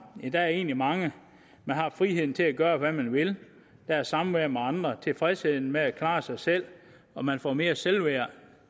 der er egentlig mange man har friheden til at gøre hvad man vil der er samværet med andre tilfredsheden med at klare sig selv og man får mere selvværd